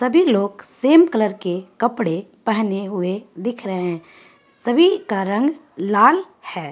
सभी लोग same colour के कपड़े पहने हुवे दिख रहे है सभी का रंग लाल है ।